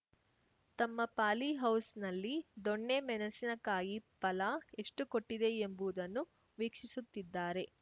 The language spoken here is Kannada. ತಮ್ಮ ಪಾಲಿ ಹೌಸ್‌ನಲ್ಲಿ ದೊಣ್ಣೆ ಮೆಣಸಿನ ಕಾಯಿ ಫಲ ಎಷ್ಟುಕೊಟ್ಟಿದೆ ಎಂಬುವುದನ್ನು ವೀಕ್ಷಿಸುತ್ತಿದ್ದಾರೆ